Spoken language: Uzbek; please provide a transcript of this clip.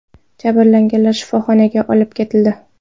Jabrlanganlar shifoxonaga olib ketildi.